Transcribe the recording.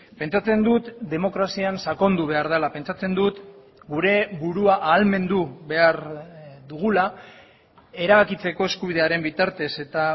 pentsatzen dut demokrazian sakondu behar dela pentsatzen dut gure burua ahalmendu behar dugula erabakitzeko eskubidearen bitartez eta